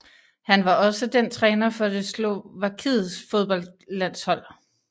Han var også den træner for det Slovakiets fodboldlandshold